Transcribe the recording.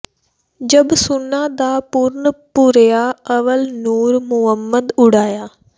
ਜਬ ਸੁੱਨਾ ਦਾ ਭੁਰਨ ਭੁਰਿਆ ਅੱਵਲ ਨੂਰ ਮੁੰਮਦ ਉੜਿਆ